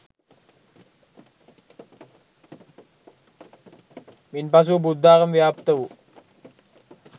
මින් පසුව බුද්ධාගම ව්‍යාප්ත වූ